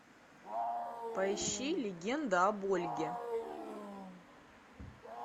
поищи легенда об ольге